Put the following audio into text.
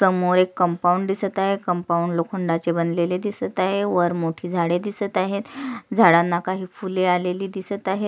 समोर एक कंपाऊंड दिसत आहे कंपाऊंड लोखंडाचे बनलेले दिसत आहे वर मोठी झाड दिसत आहेत अह झाडांना काही फूले आलेली दिसत आहेत.